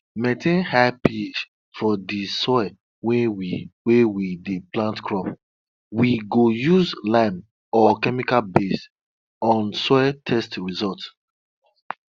for some community the animal wey the animal wey um them go use take um do sacrifice suppose sleep for outside shrine before them kpai am.